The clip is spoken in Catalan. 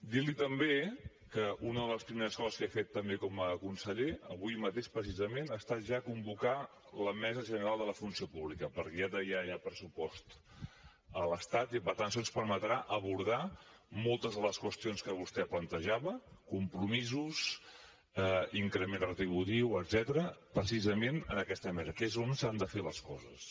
dir li també que una de les primeres coses que he fet també com a conseller avui mateix precisament ha estat ja convocar la mesa general de la funció pública perquè ja hi ha pressupost a l’estat i per tant això ens permetrà abordar moltes de les qüestions que vostè plantejava compromisos increment retributiu etcètera precisament en aquesta mesa que és on s’han de fer les coses